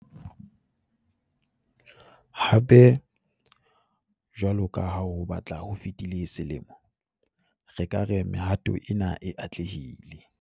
Hape, jwalo ka ha ho batla ho fetile selemo, re ka re mehato ena e atlehile.